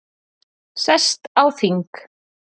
Sest á þing